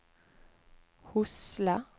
Hosle